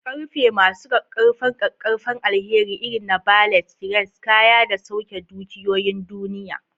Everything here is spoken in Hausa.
Ƙarfe masu ƙaƙƙarfan ƙaƙƙarfan alheri irin na ballet, cranes, kaya da sauke dukiyoyin duniya.